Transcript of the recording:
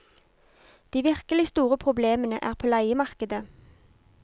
De virkelig store problemene er på leiemarkedet.